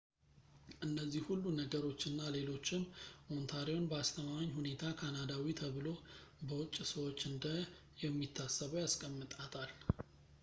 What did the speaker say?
እነዚህ ሁሉ ነገሮች እና ሌሎችም ኦንታሪዮን በአስተማማኝ ሁኔታ ካናዳዊ ተብሎ በውጪ ሰዎች እንደ የሚታሰበው ያስቀምጣታል